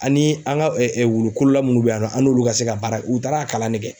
Ani an ka wulukolola munnu bɛ yan nɔ an n'olu ka se ka baara u taara kalan ne kɛ.